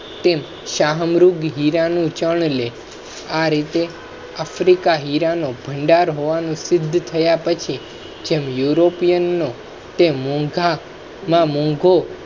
તેમ શાહમૃગ હીરા નું ચન લે આ રીતે africa હીરા નો ભંડાર હોવાનું સિદ્ધ થયા પછી જેમ european નો તેમ મોંઘા માં મોંઘો